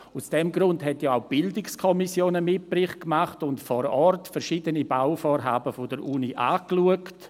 Aus diesem Grund hat ja auch die BiK einen Mitbericht gemacht und vor Ort verschiedene Bauvorhaben der Uni angeschaut.